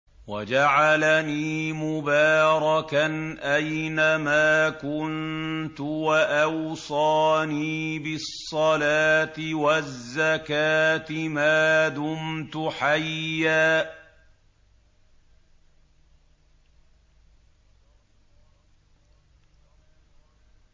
وَجَعَلَنِي مُبَارَكًا أَيْنَ مَا كُنتُ وَأَوْصَانِي بِالصَّلَاةِ وَالزَّكَاةِ مَا دُمْتُ حَيًّا